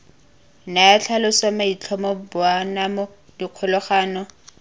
naya tlhaloso maitlhomo boanamo dikgolagano